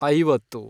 ಐವತ್ತು